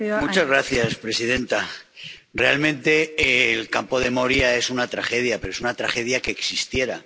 Señora presidenta, realmente el campo de Moria es una tragedia, pero es una tragedia que existiera.